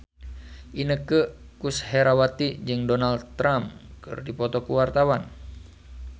Inneke Koesherawati jeung Donald Trump keur dipoto ku wartawan